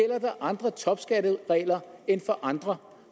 andre topskatteregler end for andre